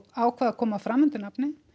ákveða að koma fram undir nafni